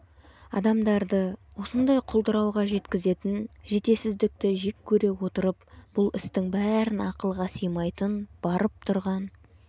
адамдарды осындай құлдырауға жеткізетін жетесіздікті жек көре отырып бұл істің бәрін ақылға сыймайтын барып тұрған